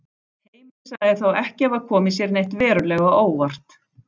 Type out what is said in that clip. Heimir sagði þá ekki hafa komið sér neitt verulega á óvart.